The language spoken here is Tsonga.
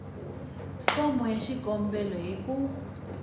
fomo ya xikombelo hi ku